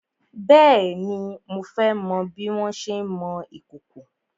Bèéni, mo fẹ́ mọ bí wọn ṣé ń mọ ìkòkò.